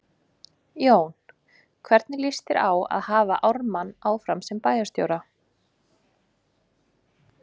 Jón: Hvernig líst þér á að hafa Ármann áfram sem bæjarstjóra?